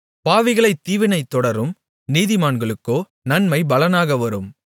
பாவிகளைத் தீவினை தொடரும் நீதிமான்களுக்கோ நன்மை பலனாக வரும்